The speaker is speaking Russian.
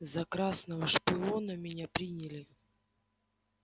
за красного шпиона меня приняли